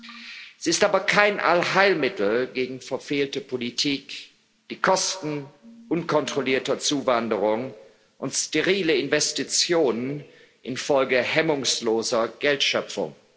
Sie ist aber kein Allheilmittel gegen verfehlte Politik, die Kosten unkontrollierter Zuwanderung und sterile Investitionen infolge hemmungsloser Geldschöpfung.